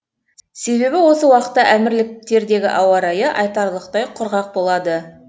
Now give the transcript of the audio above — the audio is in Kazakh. себебі осы уақытта әмірліктердегі ауа райы айтарлықтай құрғақ болады